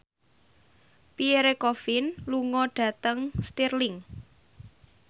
Pierre Coffin lunga dhateng Stirling